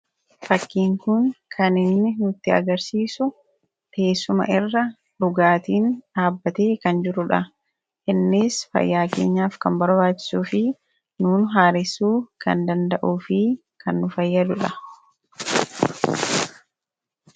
Fakkiin kun kan inni nutti agarsiisu teessuma irra dhugaatiin dhaabbatee kan jiru dha. Innis fayyaa keenyaaf kan barbaachisuu fi nuun haaressuu kan danda'uu fi kan nu fayyadu dha.